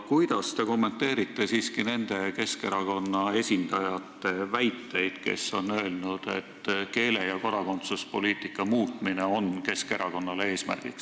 Kuidas te kommenteerite siiski nende Keskerakonna esindajate väiteid, kes on öelnud, et keele- ja kodakondsuspoliitika muutmine on Keskerakonna eesmärk?